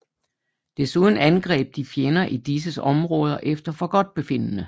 Desuden angreb de fjender i disses områder efter forgodtbefindende